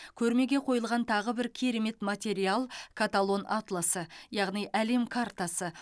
көрмеге қойылған тағы бір керемет материал каталон атласы яғни әлем картасы